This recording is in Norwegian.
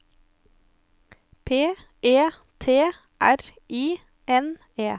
P E T R I N E